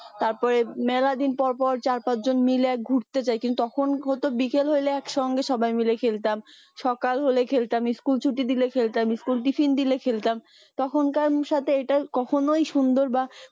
তারপরে মেলা দিন পর পর চার পাঁচ জন মাইল গুরতে যাই তখন হয়তো বিকেল হলে একসঙ্গে সবাই মাইল খেলতাম সকাল হলে খেলতাম school ছুটি দিলে খেলতাম school tiffin দিলে খেলতাম তখনকার সাথে এইটার কখনোই সুন্দর বা